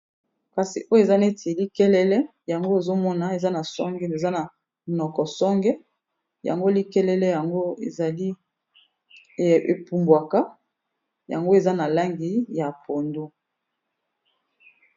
Kasi oyo eza neti likelele yango ozo mona eza na songe eza na monoko songe, yango likelele yango ezali epumbwaka yango eza na langi ya pondu.